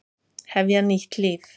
Hefja nýtt líf.